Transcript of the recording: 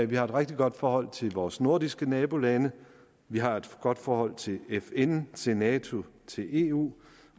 vi har et rigtig godt forhold til vores nordiske nabolande vi har et godt forhold til fn til nato til eu